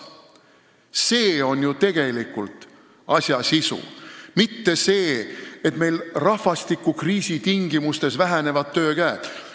See on ju tegelikult asja sisu, mitte see, et meil rahvastikukriisi tingimustes töökäte arv väheneb.